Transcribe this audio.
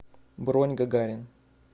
бронь гагарин